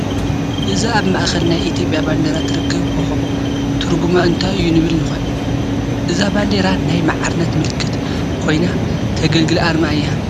እዛ ኣብ ማእኸል ናይ ኢትዮጵያ ባንዲራ ትርከብ ኮኸብ ትርጉማ እንታይ እዩ ንብል ንኾን፡፡ እዛ ባንዲራ ናይ ማዕርነት ምልክት ኮይና ተገልግል ኣርማ እያ፡፡